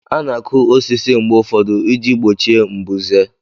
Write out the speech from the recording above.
A na-akụ osisi mgbe ụfọdụ iji gbochie mbuze